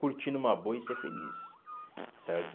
Curtindo uma boa e ser feliz, certo?